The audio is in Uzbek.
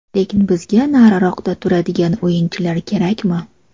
Lekin bizga nariroqda turadigan o‘yinchilar kerakmi?